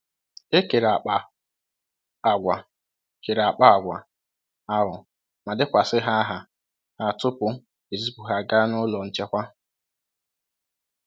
E kere akpa àgwà kere akpa àgwà ahụ ma dekwasị aha ha tupu ezipụ ha ga n'ụlọ nchekwa.